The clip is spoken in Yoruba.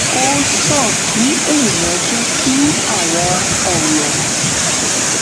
ó sàn kí èèyàn jẹ́ kí àwọn ọ̀rọ̀